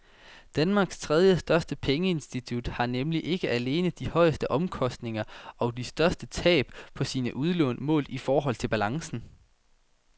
Danmarks tredjestørste pengeinstitut har nemlig ikke alene de højeste omkostninger og de største tab på sine udlån målt i forhold til balancen.